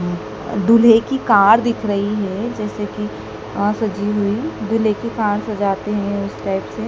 दूल्हे की कार दिख रही है जैसे कि अ सजी हुई दूल्हे की कार सजाते हैं उस टाइप से--